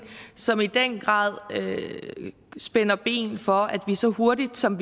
som i den grad spænder ben for at vi så hurtigt som